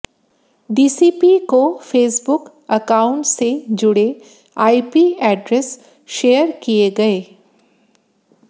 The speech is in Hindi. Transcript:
डीसीपी को फेसबुक अकाउंट से जुड़े आईपी एड्रेस शेयर किया गए